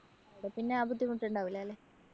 അവട പിന്നെ ആ ബുദ്ധിമുട്ടുണ്ടാവില്ല അല്ലേ?